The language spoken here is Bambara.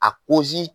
A kozi